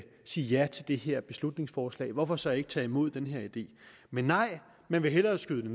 sige ja til det her beslutningsforslag hvorfor så ikke tage imod den her idé men nej man vil hellere skyde det